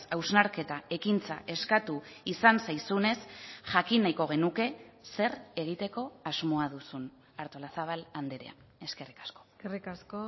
hausnarketa ekintza eskatu izan zaizunez jakin nahiko genuke zer egiteko asmoa duzun artolazabal andrea eskerrik asko eskerrik asko